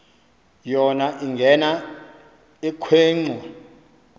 yona ingena ekhwenxua